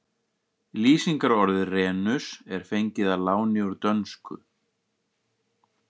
Lýsingarorðið renus er fengið að láni úr dönsku.